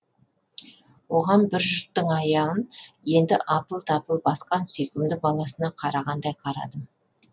оған бір жұрттың аяғын енді апыл тапыл басқан сүйкімді баласына қарағандай қарадым